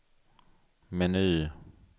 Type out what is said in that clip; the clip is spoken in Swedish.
meny